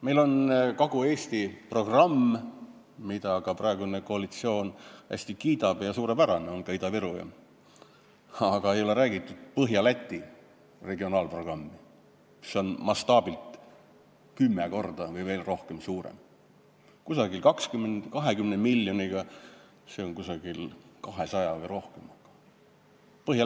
Meil on Kagu-Eesti programm, mida ka praegune koalitsioon hästi kiidab ja see on suurepärane, on ka Ida-Virumaa programm, aga ei ole räägitud Põhja-Läti regionaalprogrammist, mis on mastaabilt kümme korda või veel rohkem suurem, umbes 200 miljonit või rohkem.